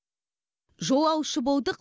жолаушы болдық